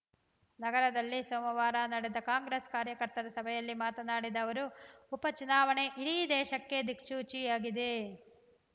ನಗರದಲ್ಲಿ ಸೋಮವಾರ ನಡೆದ ಕಾಂಗ್ರೆಸ್‌ ಕಾರ್ಯಕರ್ತರ ಸಭೆಯಲ್ಲಿ ಮಾತನಾಡಿದ ಅವರು ಉಪ ಚುನಾವಣೆ ಇಡೀ ದೇಶಕ್ಕೆ ದಿಕ್ಸೂಚಿಯಾಗಿದೆ